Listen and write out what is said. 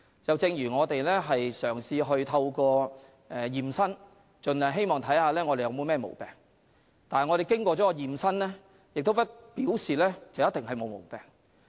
正如我們會進行驗身，看看自己是否有任何毛病，但完成驗身並不表示我們沒有毛病。